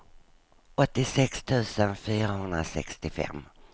åttiosex tusen fyrahundrasextiofem